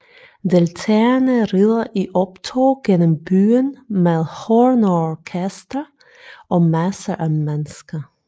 Deltagerne rider i optog gennem byen med hornorkester og masser af mennesker